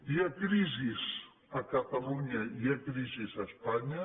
hi ha crisi a catalunya hi ha crisi a espanya